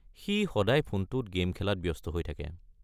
সি সদায় ফোনটোত গে'ম খেলাত ব্যস্ত হৈ থাকে।